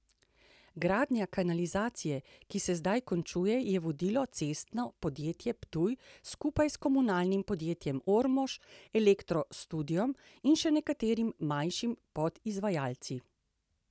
Gradnjo kanalizacije, ki se zdaj končuje, je vodilo Cestno podjetje Ptuj skupaj s Komunalnim podjetjem Ormož, Elektro Studiom in še nekaterimi manjšimi podizvajalci.